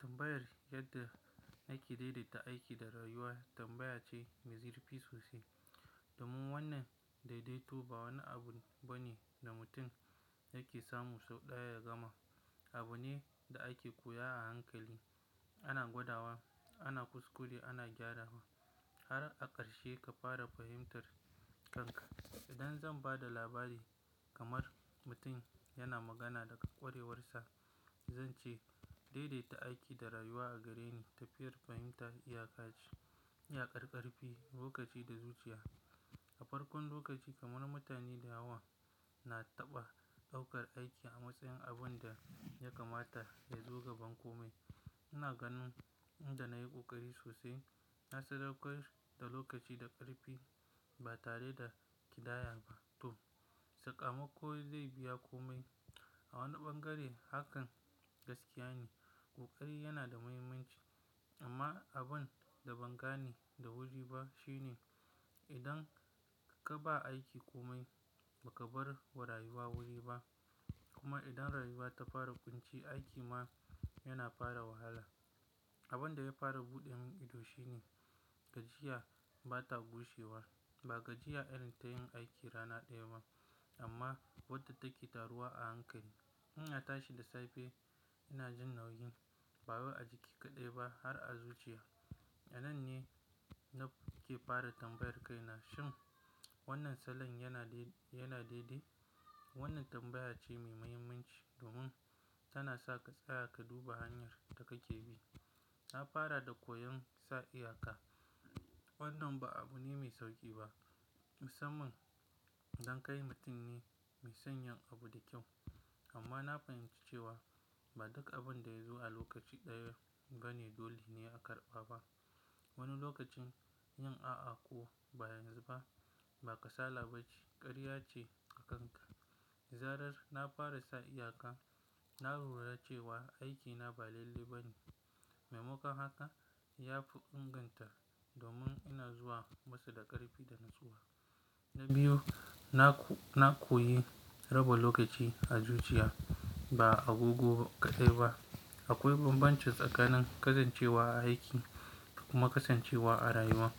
Tambayar yadda na ke daidaita aiki da rayuwa tambaya ce mai zirfi sosai. Domin wannan daidaito ba wani abu bane da mutum yake samu sau ɗaya ya gama. Abu ne da ake koya a hankali. Ana gwadawa, ana kuskure, ana gyarawa har a ƙarshe ka fara fahimtar kanka. Idan zan ba da labari kamar mutum yana magana daga ƙwarewarsa, zan ce daidaita aiki da rayuwa a gare ni tafiyar fahimta iya ka ce, iyakar ƙarfi lokaci da zuciya. A farkon lokaci kamar mutane da yawa, na taɓa ɗaukar aiki a matsayin abun da ya kamata yazo gaban komai. Ina ganin in da na yi ƙoƙari sosai na sadaukar da lokaci da ƙarfi ba tare da ƙidaya ba, to sakamako zai biya komai. A wani bangare hakan gaskiya ne. Ƙoƙari yana da muhimmanci amma abin da ban gane da wuri ba shine idan ka ba aiki komai ba ka bar wa rayuwa wuri ba. Kuma idan rayuwa ta fara ƙunci, aiki ma yana fara wahala. Abin da ya fara buɗe min ido shine gajiya ba ta gushewa. Ba gajiya irin ta yin aiki rana ɗaya ba amma wadda take taruwa a hankali. Ina tashi da safe ina jin nauyi, ba wai a jiki kaɗai ba har a zuciya. A nan ne na ke fara tambayar kaina, shin wannan salon yana daidai? Wannan tambaya ce mai muhimmanci domin tana sa ka tsaya ka duba hanyar da kake bi. Na fara da koyon sa iyaka. Wannan ba abu ne mai sauƙi ba. Musamman don kai mutum ne mai sanyin abu da kyau. Amma na fahimci cewa ba duk abin da ya zo a lokaci ɗaya bane dole ne a karɓa ba. Wani lokacin yin a'a ko ba yanzu ba ba kasala bace, ƙarya ce a kanka. Dazarar na fara sa iyaka, na lura cewa aikina ba lallai ba ne mai ma kon haka ya fi inganta domin ina zuwa masu da ƙarfi da natsuwa. Na biyu, na, na koyi raba lokaci a zuciya ba a agogo kaɗai ba. Akwai bambanci tsakanin kasancewa a aiki da kuma kasancewa a rayuwa.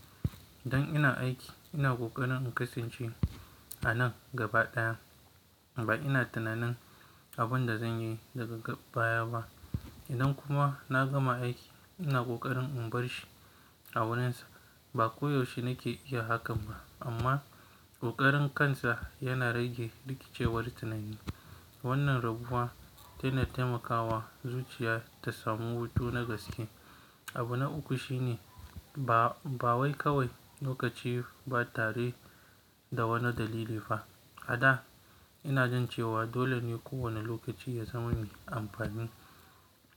Idan ina aiki ina ƙoƙarin in kasance a nan gaba ɗaya. Ba ina tunanin abin da zan yi daga baya ba. Idan kuma na gama aiki ina ƙoƙarin in bar shi a wurinsa. Ba koyaushe nake iya hakan ba amma ƙoƙarin kansa yana rage rikicewar tunani. Wannan rabuwa tana taimakawa zuciya ta samu hutu na gaske. Abu na uku shine ba, ba wai kawai lokaci ba tare da wani dalili ba. A da ina jin cewa dole ne kowane lokaci ya zama mai amfani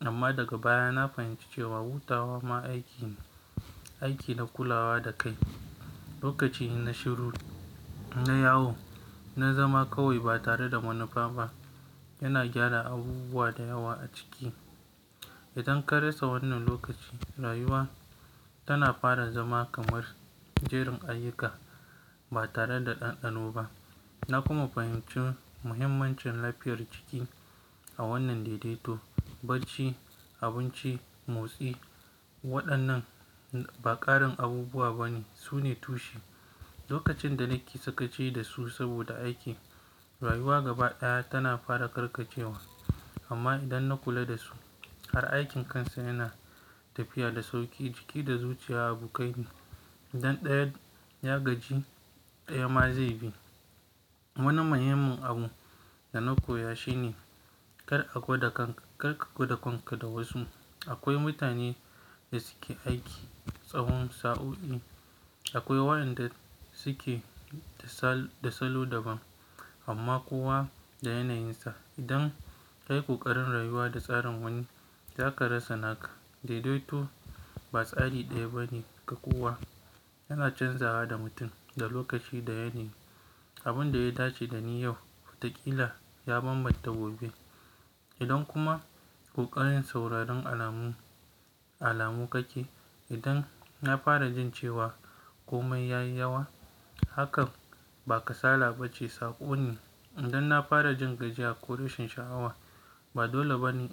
amma daga baya na fahimci cewa hutawa ma aiki ne, aiki na kulawa da kai. Lokaci inna shiruru, inna yawo, inna zama kawai ba tare da wani fama. Ina gyara abubuwa da yawa a ciki. Idan ka rasa wannan lokaci, rayuwa tana fara zama kamar jerin ayyuka ba tare da ɗanɗano ba. Na kuma fahimci muhimmancin lafiyar jiki a wannan daidaito. Barci, abinci, motsi waɗannan ba ƙarin abubuwa bane, su ne tushe. Lokacin da nake sakaci da su saboda aiki, rayuwa gaba ɗaya tana fara karkacewa. Amma idan na kula da su, har aikin kansa yana tafiya da sauƙi. Jiki da zuciya abu kai biyu idan ɗaya ya gaji ɗaya ma zai bi. Wani muhimmin abu da na koya shine kar a gwada kanka, kar ka gwada kanka da wasu. Akwai mutane da suke aiki tsahon sa'o'i. Akwai wa'yanda suke da salo daban amma kowa da yanayinsa. Idan ka yi ƙoƙarin rayuwa da tsarin wani, za ka rasa naka. Daidaito ba tsari ɗaya bane ga kowa. Yana canzawa da mutum, da lokaci, da yanayi. Abin da ya dace da ni yau, watakila ya bambanta gobe. Idan kuma ƙoƙarin sauraron alamu, alamu kake. Idan na fara jin cewa komai ya yi yawa, hakan ba kasala ba ce, saƙo ne. Idan na fara jin gajiya ko rashin sha'awa, ba dole ba ne.